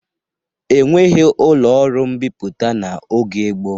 E nweghi ụlọ ọrụ mbipụta n'oge gboo.